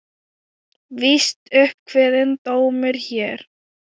Víst upp kveðinn dómur hér.